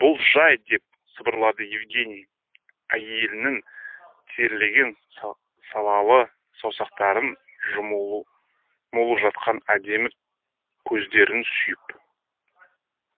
бұл жай деп сыбырлады евгений әйелінің терлеген салалы саусақтарын жатқан әдемі көздерін сүйіп